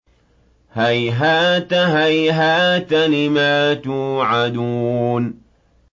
۞ هَيْهَاتَ هَيْهَاتَ لِمَا تُوعَدُونَ